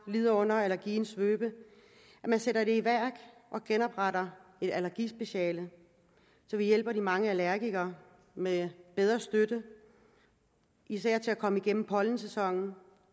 lider under allergiens svøbe at man sætter i værk og genopretter et allergispeciale så vi hjælper de mange allergikere med bedre støtte især til at komme igennem pollensæsonen